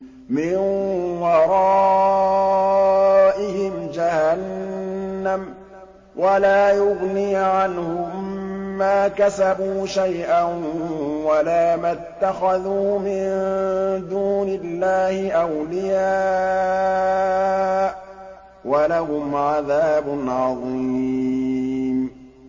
مِّن وَرَائِهِمْ جَهَنَّمُ ۖ وَلَا يُغْنِي عَنْهُم مَّا كَسَبُوا شَيْئًا وَلَا مَا اتَّخَذُوا مِن دُونِ اللَّهِ أَوْلِيَاءَ ۖ وَلَهُمْ عَذَابٌ عَظِيمٌ